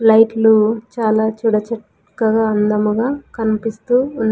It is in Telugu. లైట్లు చాలా చూడ చక్కగా అందముగా కన్పిస్తూ ఉన్--